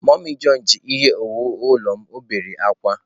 Mummy john ji ihe owuwu ulo m, o bere akwa.